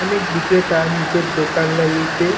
অনেক বিক্রেতা নিজের দোকান লাগিয়েছে।